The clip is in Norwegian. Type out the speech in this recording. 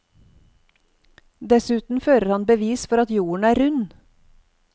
Dessuten fører han bevis for at jorden er rund.